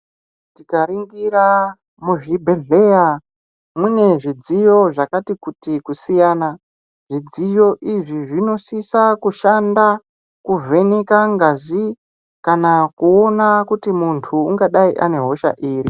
Tikaringira muzvibhedhleya mune zvidziyo zvakati kuti kusiyana, zvidziyo izvi zvinosisa kushanda kuvheneka ngazi kana kuona kuti muntu ungadai ane hosha iri.